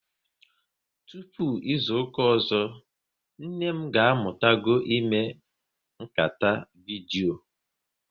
Tụpụ izuka ọzọ, nne m ga amụtago ime nkata vidyo